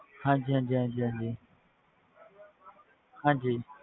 ਹਾਂਜੀ ਹਾਂਜੀ ਹਾਂਜੀ ਹਾਂਜੀ ਹਾਂਜੀ